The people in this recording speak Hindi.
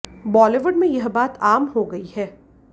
बॉलीवुड में यह बात आम हो गई है